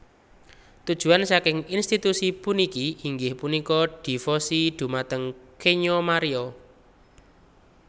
Tujuan saking institusi puniki inggih punika dévosi dhumateng Kenya Maria